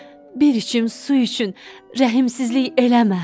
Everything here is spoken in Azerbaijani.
Bir içim su üçün rəhimsizlik eləmə.